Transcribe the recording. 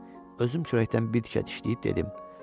Özüm çörəkdən bir tikə dişləyib dedim: